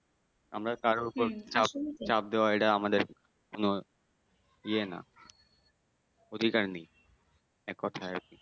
আমরা তাদের ওপর চাপ দেওয়া এটা আমাদের কোন ইয়ে না অধিকার নেই এক কথাই